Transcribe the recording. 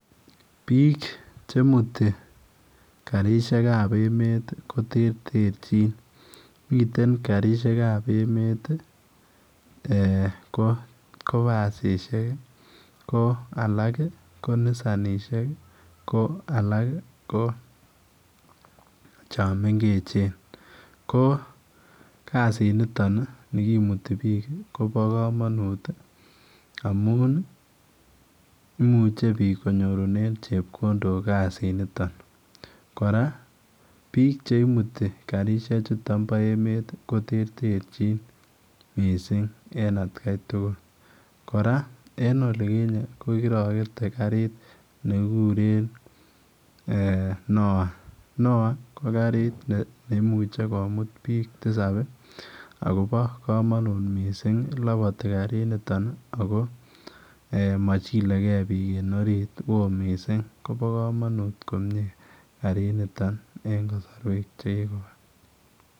Biik che mutii karisheek ab emet ii ko terterjiin miten karisheek ab emet ii ko basisiek ii ko alaak ii ko Nissannisiek ii ko alaak chaang mengeechen ko kassit nitoon ni nikimutii biik kobaa kamanuut ii amuun ii imuuchei konyoorunen chepkondook kasiit nitoon, kora biik che imutii karisheek chutoon bo emet ko terterjiin missing en at Kai tugul, kora en olikinyei ko kirakete kariit nikikuren [NOAH] ko kariit neimuuchei komuut biik tisaap ii agobo kamanut missing labatii kariit nitoon Missing ako machilekei biik en oriit ko wooh ,koba kamanut kariit nitoon en kasarweek che kikobaa.